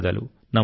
నమస్కారం